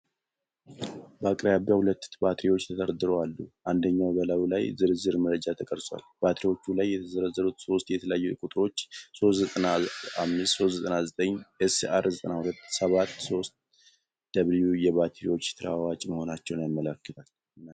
በአቅራቢያው ሁለት ባትሪዎች ተደርድረው አሉ፣ አንደኛው በላዩ ላይ ዝርዝር መረጃ ተቀርጿል። ባትሪዎቹ ላይ የተዘረዘሩት ሶስት የተለያዩ ቁጥሮች (395/399/SR927SW) የባትሪዎቹ ተለዋዋጭ መሆናቸውን ያመለክታል?